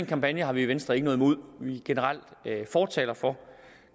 kampagne har vi i venstre ikke noget imod vi er generelt fortalere for